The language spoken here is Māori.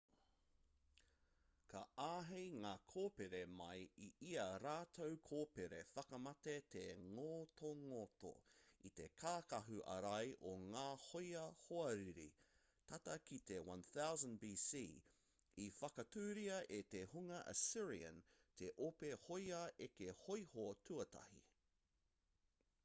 ka āhei ngā kōpere mai i ā rātou kōpere whakamate te ngotongoto i te kākahu ārai o ngā hōia hoariri tata ki te 1000 b.c. i whakatūria e te hunga assyrian te ope hōia eke hōiho tuatahi